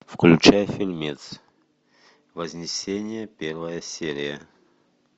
включай фильмец вознесение первая серия